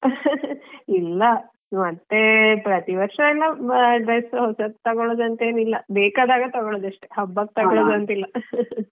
ಇಲ್ಲಾ ಮತ್ತೇ ಪ್ರತಿವರ್ಷ ಎಲ್ಲ dress ಹೊಸತ್ತು ತಗೋಳೋದಂತೇನಿಲ್ಲ ಬೇಕಾದಾಗ ತಗೋಳೋದು ಅಷ್ಟೇ ಹಬಕ್ಕೆ ತಗೋಳೋದಂತಿಲ್ಲ .